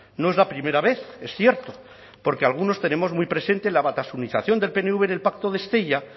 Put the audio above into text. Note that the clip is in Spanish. no es la primera vez es cierto porque algunos tenemos muy presente la batasunización del pnv en el pacto de estella